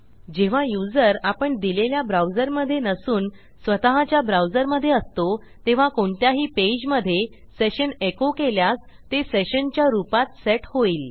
जेव्हा युजर आपण दिलेल्या ब्राऊजर मधे नसून स्वतःच्या browserमधे असतो तेव्हा कोणत्याही पेजमधे सेशन एको केल्यास ते sessionच्या रूपात सेट होईल